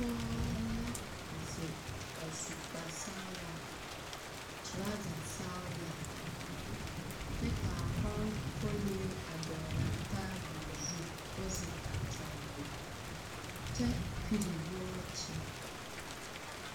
Pͻgͻ la zeŋe a su kpare sͻgelaa, torͻͻza sͻgelaa, kyԑ ka a koŋkonlee a dͻgele a taabole koo zeŋ a kyͻgele a kyԑ pere wͻͻkye.